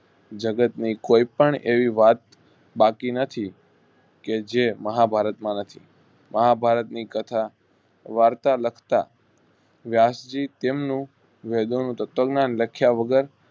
જગત ની કયપણ એવી વાત બાકી નથી કે જે મહાભારત માં નથી મહાભારત ની કથા વાર્તા લખતા વ્યાસ જી તેમનું વેદોનું તત્વ જ્ઞાન લખાયા વગર